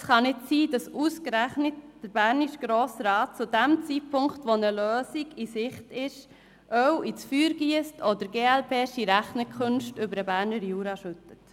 Es kann nicht sein, dass der bernische Grosse Rat ausgerechnet zu jenem Zeitpunkt, wo eine Lösung in Sicht ist, Öl ins Feuer giesst oder «glp-sche» Rechnungskünste über den Berner Jura schüttet.